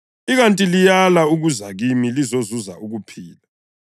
ikanti liyala ukuza kimi lizozuza ukuphila.